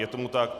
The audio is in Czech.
Je tomu tak.